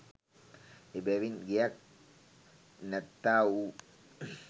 එබැවින් ගෙයක් නැත්තා වූ